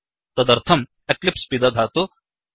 तदर्थं एक्लिप्स् पिदधातु